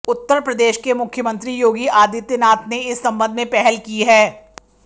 उत्तर प्रदेश के मुख्यमंत्री योगी आदित्यनाथ ने इस संबंध में पहल की है